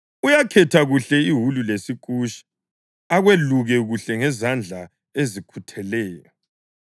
Uyakhetha kuhle iwulu lesikusha akweluke kuhle ngezandla ezikhutheleyo.